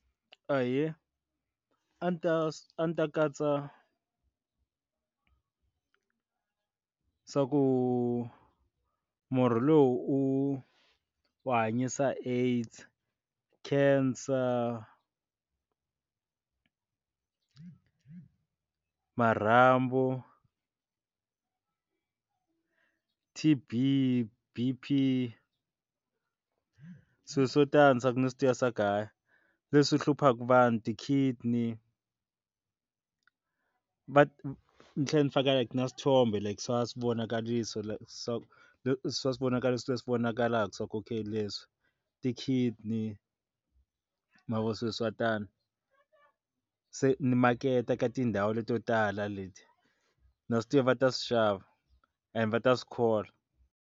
Ahee, a ni ta a ni ta katsa swaku murhi lowu u u hanyisa AIDS, cancer marhambu, T_B, B_P swilo swo tani ni swi tiva ku hayi leswi hluphaka vanhu ti-kidney va ni tlhela ni faka na swithombe swi vonakarisa swa leswi va swi vonaka leswi va swi vonakala swaku okay leswi ti-kidney mavoni swilo swa tano se ni maketa ka tindhawu leti to tala leti na swi ta va ta swi xava and va ta swi kholwa.